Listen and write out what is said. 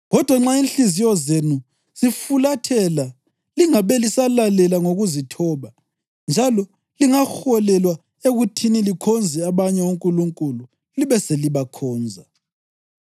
Kodwa nxa inhliziyo zenu zifulathela lingabe lisalalela ngokuzithoba, njalo lingaholelwa ekuthini likhonze abanye onkulunkulu libe selibakhonza,